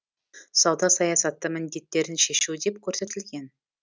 сауда саясаты міндеттерін шешу деп көрсетілген